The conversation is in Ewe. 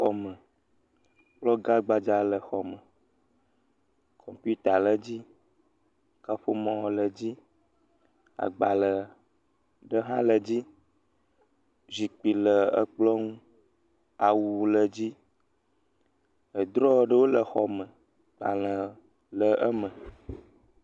Xɔ me, kplɔ gã gbadza le xɔ me, kɔmpita le dzi, kaƒomɔ le dzi, agbalẽ ɖe hã le dzi, zikpui le ekplɔ ŋu, awu le dzi, edrɔ ɖewo le xɔ me, agbalẽ le eme.